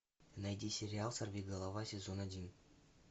найди сериал сорвиголова сезон один